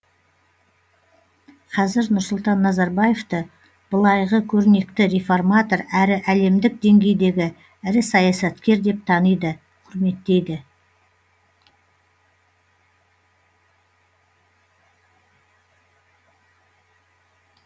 қазір нұрсұлтан назарбаевты былайғы көрнекті реформатор әрі әлемдік деңгейдегі ірі саясаткер деп таниды құрметтейді